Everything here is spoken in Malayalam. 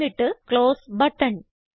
എന്നിട്ട് ക്ലോസ് ബട്ടൺ